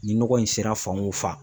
Ni nɔgɔ in sera fan o fan